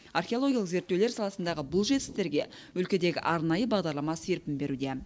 археологиялық зерттеулер саласындағы бұл жетістіктерге өлкедегі арнайы бағдарлама серпін беруде